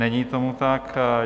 Není tomu tak.